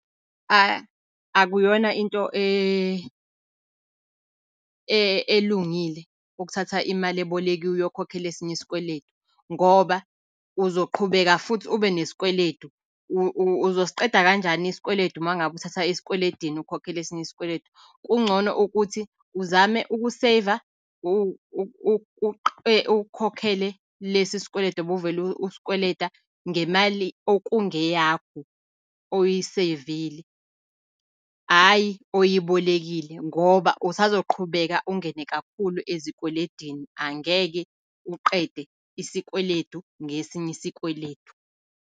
Akuyona into elungile ukuthatha imali ebolekiwe uyokhokhela esinye isikweledu, ngoba uzoqhubeka futhi ube nesikweledu, uzosiqeda kanjani isikweledu uma ngabe uthatha esikweledini ukhokhela esinye isikweledu. Kungcono ukuthi uzame uku-save-a ukhokhele lesi sikweledu obuvele usikweleta ngemali okungeyakho, oyi-save-ile. Hhayi oyibolekile, ngoba usazoqhubeka ungene kakhulu ezikweledini, angeke uqede isikweledu ngesinye isikweledu.